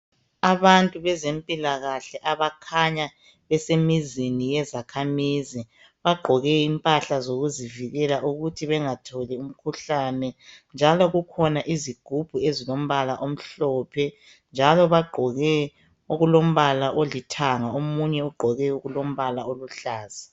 abantu bezempilakahle abakhanya besemizini yezakhamizi bagqoke impahla zokuzivikela ukuthi bengatholi umkhuhlane njalo kukhona izigubhu ezilombala omhlophe njalo bagqoke okulombala olithanga omunye ugqoke okulombala oluhlaza